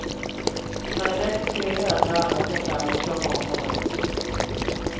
Han är lätt generad när alla skall fram och krama om honom.